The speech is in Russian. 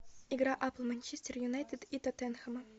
игра апл манчестер юнайтед и тоттенхэма